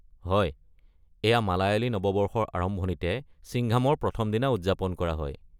হয়, এইয়া মালয়ালী নৱবৰ্ষৰ আৰম্ভণিতে চিংঘামৰ প্ৰথম দিনা উদযাপন কৰা হয়।